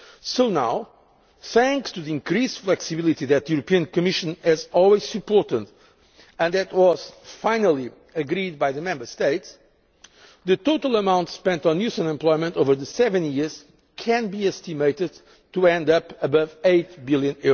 well. So now thanks to the increased flexibility that the European Commission has always supported and that was finally agreed by the Member States the total amount spent on youth unemployment over the seven years can be estimated at above EUR 8 billion.